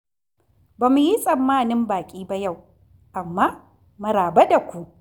Ba mu yi tsammanin baƙi ba yau. Amma maraba da ku!